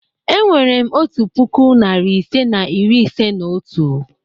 E nwere m otu puku, narị ise na iri ise na otu.